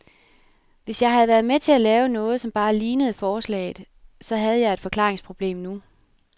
Hvis jeg havde været med til at lave noget, som bare lignede forslaget, så havde jeg et forklaringsproblem nu.